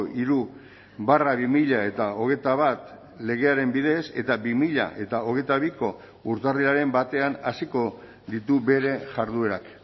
hiru barra bi mila hogeita bat legearen bidez eta bi mila hogeita biko urtarrilaren batean hasiko ditu bere jarduerak